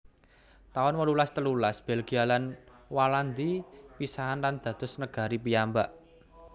taun wolulas telulas Belgia lan Walandi pisahan lan dados negari piyambak